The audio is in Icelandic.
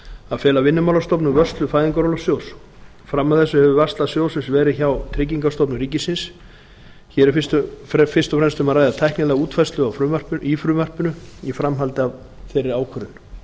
að fela vinnumálastofnun vörslu fæðingarorlofssjóðs fram að þessu hefur varsla sjóðsins verið hjá tryggingastofnun ríkisins hér er fyrst og fremst um að ræða tæknilega útfærslu í frumvarpinu í framhaldi af þeirri ákvörðun